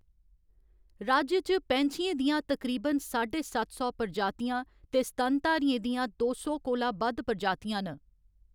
राज्य च पैंछियें दियां तकरीबन साढे सत्त सौ प्रजातियां ते स्तनधारियें दियां दो सौ कोला बद्ध प्रजातियां न।